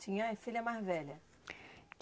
Tinha filha mais velha.